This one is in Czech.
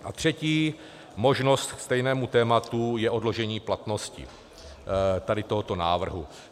A třetí možnost k stejnému tématu je odložení platnosti tady tohoto návrhu.